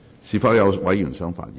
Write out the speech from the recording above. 是否有委員想發言？